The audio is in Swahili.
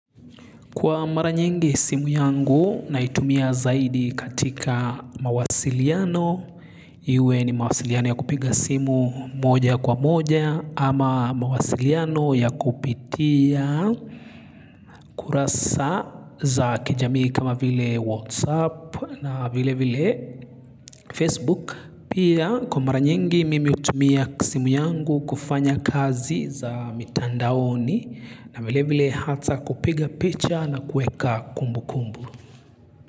Kwa mara nyingi simu yangu naitumia zaidi katika mawasiliano, iwe ni mawasiliano ya kupiga simu moja kwa moja ama mawasiliano ya kupitia kurasa za kijamii kama vile whatsapp na vile vile facebook. Pia kwa mara nyingi mimi hutumia simu yangu kufanya kazi za mitandaoni. Na vile vile hata kupiga picha na kuweka kumbu kumbu.